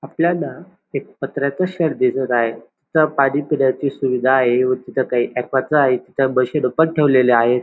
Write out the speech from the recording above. आपल्याला एक पत्र्याचं शेड दिसत आहे तिथं पाणी पिण्याची सुविधा आहे व तिथ च्या ठेवलेल्या आहेत.